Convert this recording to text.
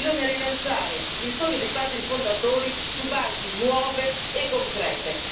bisogna rilanciare il sogno dei padri fondatori su basi nuove e concrete.